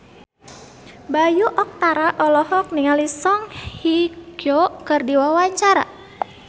Bayu Octara olohok ningali Song Hye Kyo keur diwawancara